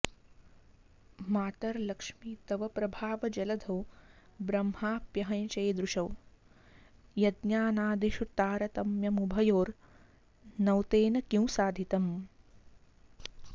मातर्लक्ष्मि तव प्रभावजलधौ ब्रह्माऽप्यहं चेदृशौ यज्ञानादिषु तारतम्यमुभयोर्नौ तेन किं साधितम्